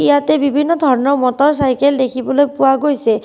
ইয়াতে বিভিন্ন ধৰণৰ মটৰ চাইকেল দেখিবলৈ পোৱা গৈছে।